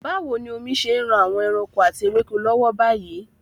Báwo ni omi ṣe ń ran àwọn ẹranko àti ewéko lọ́wọ́ báyìí?